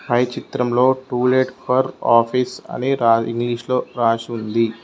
పై చిత్రంలో to let for office అని రా ఇంగ్లీష్ లో రాసి ఉంది.